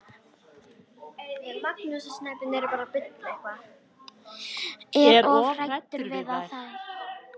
Er of hræddur við þær.